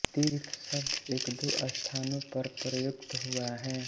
तीर्थ शब्द एकदो स्थानों पर प्रयुक्त हुआ है